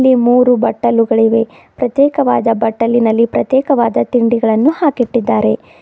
ಮೂರು ಬಟ್ಟಲುಗಳಿವೆ ಪ್ರತ್ಯೇಕವಾದ ಬಟ್ಟಲಿನಲ್ಲಿ ಪ್ರತ್ಯೇಕವಾದ ತಿಂಡಿಗಳನ್ನು ಹಾಕಿ ಇಟ್ಟಿದ್ದಾರೆ.